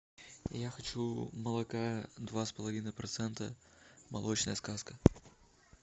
я хочу молока два с половиной процента молочная сказка